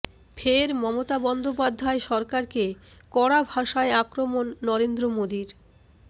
ফের মমতা বন্দ্যোপাধ্যায় সরকারকে কড়া ভাষায় আক্রমণ নরেন্দ্র মোদীর